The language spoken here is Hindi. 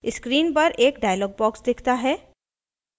screen पर एक dialog box दिखता है